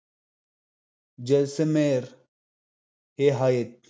जैसलमेर हे आहेत.